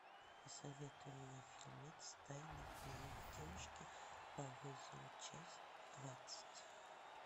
посоветуй мне фильмец тайный дневник девушки по вызову часть двадцать